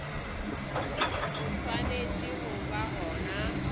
bo swanetše go ba gona